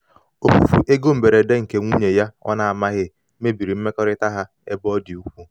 ofufu ego mberede nke nwunye ya ọ na-amaghị na-amaghị mebiri mmekọrịta ha ebe ọ dị ukwuu.